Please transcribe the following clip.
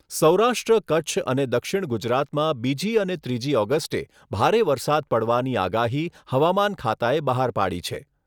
સૌરાષ્ટ્ર, કચ્છ અને દક્ષિણ ગુજરાતમાં બીજી અને ત્રીજી ઓગસ્ટે ભારે વરસાદ પડવાની આગાહી હવામાન ખાતાએ બહાર પાડી છે.